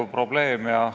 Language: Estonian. Lugupeetud kolleegid!